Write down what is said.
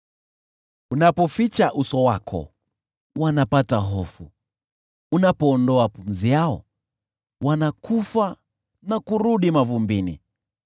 Unapoficha uso wako, wanapata hofu, unapoondoa pumzi yao, wanakufa na kurudi mavumbini.